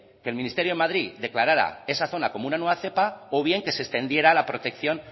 que el ministerio en madrid declarara esa zona como una nueza cepa o bien que se extendiera la protección